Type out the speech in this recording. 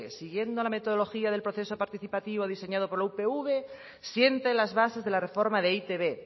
siguiendo la metodología del proceso participativo diseñado por la upv siente las bases de la reforma de e i te be